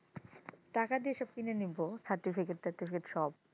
টাকা দিয়ে সব কিনে নিবে certificate টার্টিফিকেট সব,